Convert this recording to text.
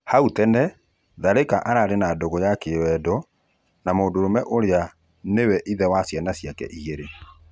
Hau tene Tharĩka arĩ na ndũgũ ya kĩwendo na mũndũrũme ũrĩa nĩwe ithe wa ciana ciake igĩrĩ.